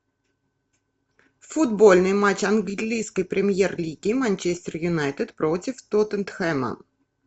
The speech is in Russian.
футбольный матч английской премьер лиги манчестер юнайтед против тоттенхэма